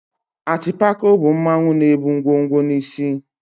Atịpako bụ mmanwụ na-ebu ngwo ngwo n'isí.